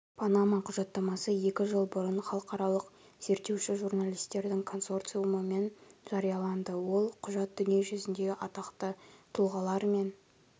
панама құжаттамасы екі жыл бұрын халықаралық зерттеуші журналистердің консорциумымен жарияланды ол құжат дүниежүзіндегі атақты тұлғалар мен